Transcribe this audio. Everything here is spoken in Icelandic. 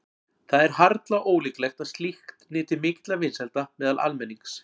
Það er harla ólíklegt að slíkt nyti mikilla vinsælda meðal almennings.